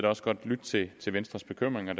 også godt lytte til venstres bekymringer